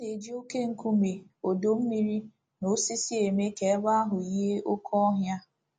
A na - eji oké nkume, ọdọ mmiri, na osisi eme ka ebe ahụ yie oké ọhịa.